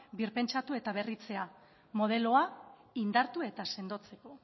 birpentsatu eta berritzea modeloa indartu eta sendotzeko